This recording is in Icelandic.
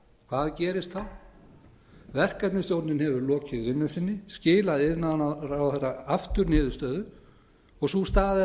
hvað gerist þá verkefnisstjórnin hefur lokið vinnu sinni skilað iðnaðarráðherra aftur niðurstöðu og sú staða er